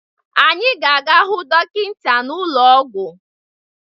Anyị ga-aga hụ dọkịta n'ụlọ ọgwụ